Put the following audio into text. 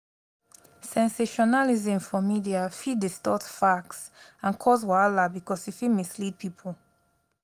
sensationalism for media fit distort facts and cause wahala because e fit mislead people.